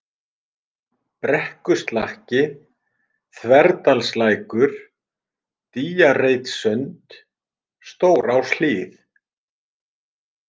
Brekkuslakki, Þverdalslækur, Dýjareitssund, Stóráshlíð